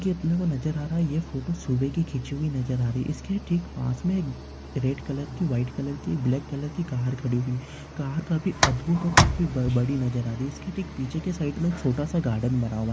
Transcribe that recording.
ये अपने को नज़र आ रहा है। ये फोटो सुभेह कि खिच्ची हुई नज़र आ रही है। इसके ठिक पास मे एक रेड कलर की व्हाइट कलर की ब्लॅक कलर की कार खड़ी हुई कार काफी अधभूत और काफी बड़ी नज़र आ रही इसकी ठिक पिच्चे के साईड मे छोटासा गार्डन बना हुआ है।